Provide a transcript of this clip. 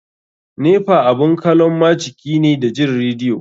Nepa abun kalon majiki ne da jin radio.